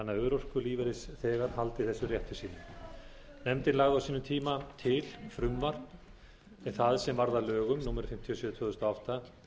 þess rétti sínum nefndin lagði á sínum tíma til frumvarp það sem varð að lögum númer fimmtíu og sjö tvö þúsund og átta